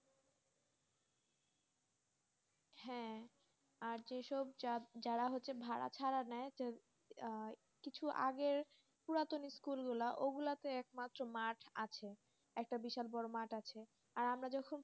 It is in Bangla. হ্যাঁ আর যেসব যারা হচ্ছে ভাড়া ছাড়া নেয়, কিছু আগের পুরাতন স্কুল গুলো ওগুলোতে একমাত্র মাঠ আছেএকটা বিশাল বড় মাঠ আছে আর আমরা যখন,